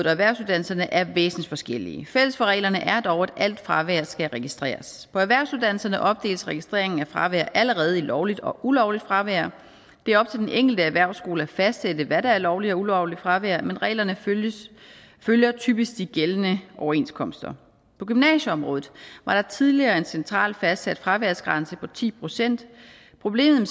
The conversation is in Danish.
erhvervsuddannelserne er væsentlig forskellige fælles for reglerne er dog at alt fravær skal registreres på erhvervsuddannelserne opdeles registrering af fravær allerede i lovligt og ulovligt fravær det er op til den enkelte erhvervsskole at fastsætte hvad der er lovligt og ulovligt fravær men reglerne følger følger typisk de gældende overenskomster på gymnasieområdet var der tidligere en centralt fastsat fraværsgrænse på ti procent problemet